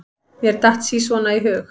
Mér datt sí svona í hug.